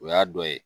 O y'a dɔ ye